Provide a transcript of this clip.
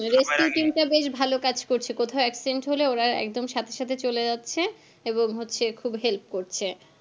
rescue team টা বেশ ভালো কাজ করছে কোথাও accident হলে ওরাও একদম সাথে সাথে চলে যাচ্ছে এবং হচ্ছে খুব ভালো help করছে